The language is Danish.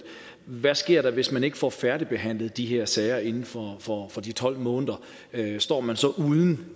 hvad sker der hvis man ikke får færdigbehandlet de her sager inden for for de tolv måneder står man så uden